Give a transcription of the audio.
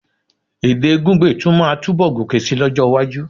Èdè Gungbe tún máa túnbọ̀ gòkè síi lọ́jọ́-iwájú.